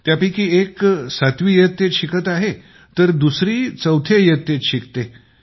त्यापैकी एक सातवी इयत्तेत शिकत आहे तर दुसरी चौथ्या इयत्तेत शिकते